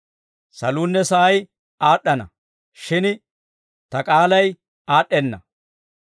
Saluunne sa'ay aad'd'ana; shin ta k'aalay aad'd'enna.